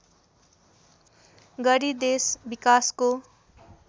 गरी देश विकासको